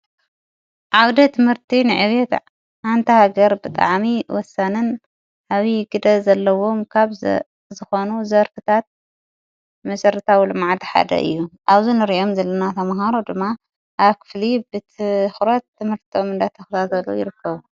ዓውደ ትምህርቲ ንዕትዕ ኣንታ ገር ብቲዓሚ ወሳንን ሃቢዪ ግደ ዘለዎም ካብ ዝኾኑ ዘርፍታት ምሠርታ ዊ ሎመዓቲ ሓደ እዩ ዓዙንርእዮም ዘለናተምሃሮ ድማ ኣክፍሊ ብት ዂረት ጥምህርቲም ንዳተኽራዘሎ ይርከቡ።